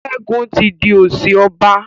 Segun tí dì osi ọba.